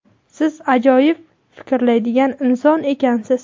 siz ajoyib fikrlaydigan inson ekansiz.